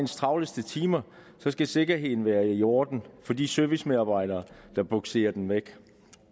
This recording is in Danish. travleste timer skal sikkerheden være i orden for de servicemedarbejdere der bugserer den væk